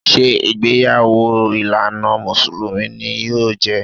Ṣé ìgbéyàwó ìlànà Mùsùlùmí ni yóò jẹ́?